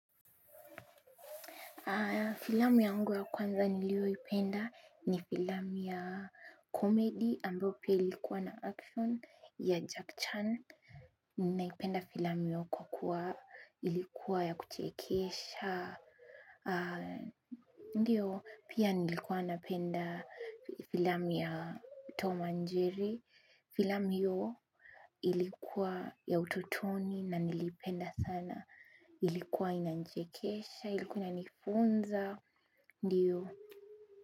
Filamu yangu ya kwanza nilio ipenda ni filamu ya komedi ambao pia ilikuwa na action ya Jack Chan. Ninaipenda filamu yu kwa kuwa ilikuwa ya kuchekesha. Ndiyo pia nilikuwa napenda filamu ya Toma Njeri. Filamu iyo ilikuwa ya ututoni na nilipenda sana. Ilikuwa inanichekesha, ilikuwa inanifunza, ndiyo.